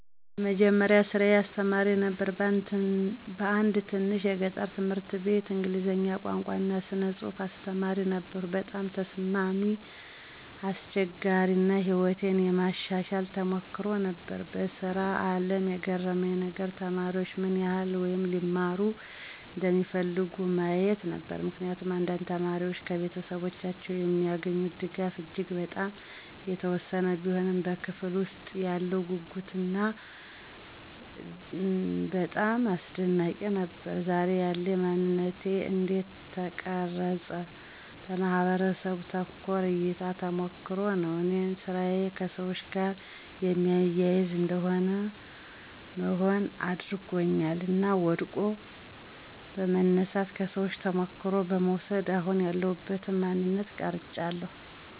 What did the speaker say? የመጀመሪያ ስራየ አስተማሪ ነበር በአንድ ትንሽ የገጠር ትምህርት አቤት የእንግሊዝ ቋንቋ እና ስነ ፅሐፍ አስተማሪ ነበርኩ። በጣም ተስማሚ፣ አስቸጋሪ አና ሕይወቴን የማሻሻል ተሞክሮ ነበር። በስራ አለም የገረመኝ ነገር?፦ተማሪዎች ምን ይህል (ሊማሩ) እንደሚፈልጉ ማየት ነበር። ምክንያቱም አንዳንድ ተማሪዎች ከቤተሰቦቻቸው የሚገኙት ድጋፍ እጂግ በጣም የተወሰነ ቢሆንም በክፍለ ውስጥ ያለው ጉጉትና እደጋታቸው በጣም አስደናቂ ነበር። ዛሬ ያለኝ ማነንት እንዴት ተቀረፀውን? በማህበረሰቡ ተኮር እይታና ተሞክሮ ነው እኔን ስራዬ ከሰዎች ጋር የሚያያዝ እንደ መሆን አድርጓኛል እና ወድቆ በመነሳት፣ ከሰዎቹ ተሞክሮ በመውስድ አሁን ያለውበትን ማንነት ቀራጨዋለሁ።